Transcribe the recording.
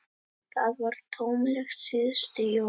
Það var tómlegt síðustu jól.